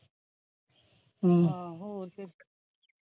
ਹਾਂ ਹੋਰ ਕੀ